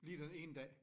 Lige den ene dag